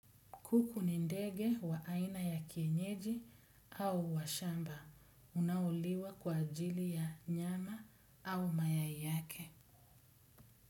Kuku ni ndege wa aina ya kienyeji au wa shamba. Unaoliwa kwa ajili ya nyama au mayai yake.